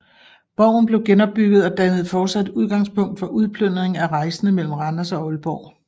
Borgen blev genopbygget og dannede fortsat udgangspunkt for udplyndring af rejsende mellem Randers og Aalborg